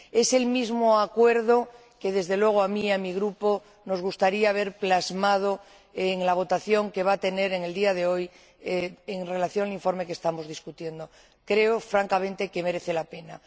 Es el mismo acuerdo que, desde luego a mí y a mi Grupo, nos gustaría ver plasmado en la votación que va a tener lugar en el día de hoy en relación con el informe que estamos debatiendo. Creo, francamente, que merece la pena.